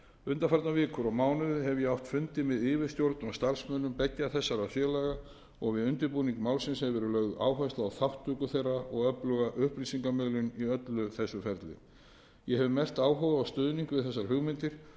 undanfarnar vikur og mánuði hef ég átt fundi með yfirstjórn og starfsmönnum beggja þessara félaga og við undirbúning málsins hefur verið lögð áhersla á þátttöku þeirra og öfluga upplýsingamun í öllu þessu ferli ég hef mest áhuga á stuðning við þessar hugmyndir